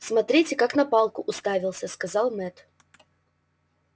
смотрите как на палку уставился сказал мэтт